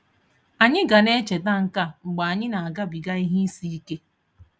Anyị ga na echeta nke a mgbe anyị na-agabiga ihe isi ike.